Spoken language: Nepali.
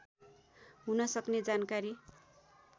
हुन सक्ने जानकारी